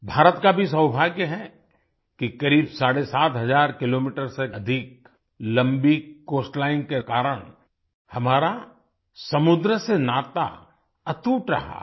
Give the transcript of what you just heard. भारत का भी सौभाग्य है कि करीब साढ़े सात हजार किलोमीटर 7500 किलोमीटर से अधिक लम्बी कोस्टलाइन के कारण हमारा समुंद्र से नाता अटूट रहा है